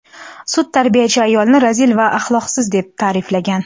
Sud tarbiyachi ayolni razil va axloqsiz deb ta’riflagan.